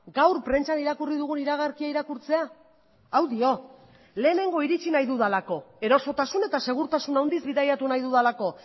gaur prentsan irakurri dugun iragarkia irakurtzea hau dio lehenengo iritsi nahi dudalako erosotasun eta segurtasun handiz bidaiatu nahi dudalako